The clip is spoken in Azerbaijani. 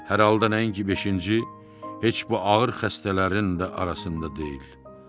Hər halda nəinki beşinci, heç bu ağır xəstələrin də arasında deyil.